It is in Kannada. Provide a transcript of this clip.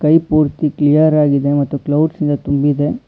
ಸ್ಕೈ ಪೂರ್ತಿ ಕ್ಲಿಯರ್ ಆಗಿದೆ ಮತ್ತು ಕ್ಲೌಡ್ಸ್ ಇಂದ ತುಂಬಿದೆ.